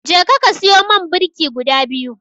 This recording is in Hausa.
Jeka ka siyo man birki guda biyu.